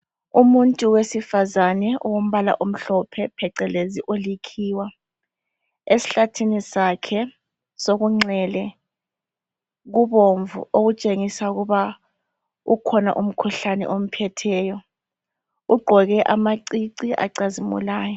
Umuntu wesifazana owombala omhlophe phecelezi olikhiwa esihlathini sakhe sokunxele kubomvu okutshengisa ukuba ukhona umkhuhlane omphetheyo ugqoke amacici acazimulayo.